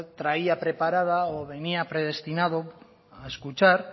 traía preparada o venia predestinado a escuchar